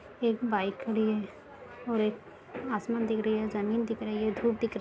एक बाइक खड़ी है और एक आसमान दिख रही है जमीन दिख रही है धूप दिख रह --